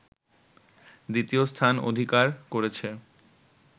দ্বিতীয় স্থান অধিকার করেছে